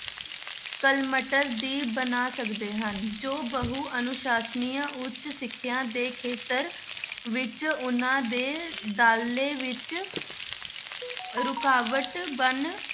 cluster ਵੀ ਬਣਾ ਸਕਦੇੇ ਹਨ, ਜੋ ਬਹੁ ਅਨੁਸਾਸਨੀ ਉੱਚ ਸਿੱਖਿਆ ਦੇ ਖੇਤਰ ਵਿੱਚ ਉਹਨਾਂ ਦੇ ਦਾਖਲੇ ਵਿੱਚ ਰੁਕਾਵਟ ਬਣ